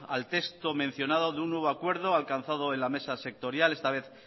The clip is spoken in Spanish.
al texto mencionado de un nuevo acuerdo alcanzado en la mesa sectorial esta vez